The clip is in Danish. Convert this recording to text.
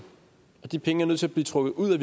og de penge er nødt til at blive trukket ud af